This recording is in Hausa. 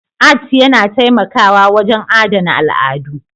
Art yana taimakawa wajen adana al'adu